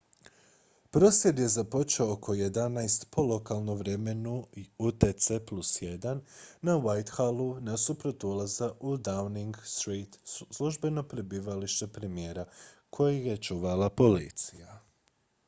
prosvjed je započeo oko 11:00 po lokalnom vremenu utc+1 na whitehallu nasuprot ulaza u downing street službeno prebivalište premijera koji je čuvala policija